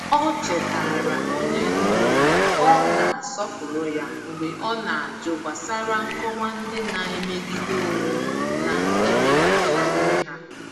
Ọ chetaara onye ndu na ọ na-asọpụrụ ya mgbe ọ na-ajụ gbasara nkọwa ndị na-emegide onwe na-emegide onwe ha.